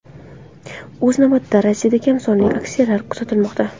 O‘z navbatida, Rossiyada kam sonli aksiyalar kuzatilmoqda.